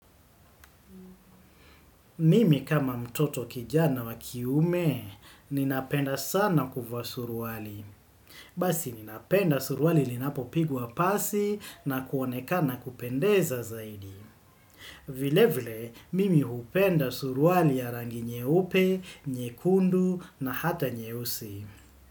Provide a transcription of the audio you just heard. Mimi kama mtoto kijana wa kiume, ninapenda sana kuvaa suruali. Basi ninapenda suruali linapo pigwa pasi nakuoneka na kupendeza zaidi. Vile vile, mimi hupenda suruali ya rangi nyeope, nyekundu na hata nyeusi.